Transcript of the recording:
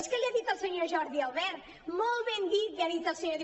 és que l’hi ha dit el senyor jordi albert molt ben dit l’hi ha dit el senyor